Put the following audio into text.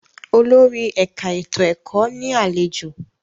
Olórí ẹ̀ka ètò ẹ̀kọ́ ní àlejò.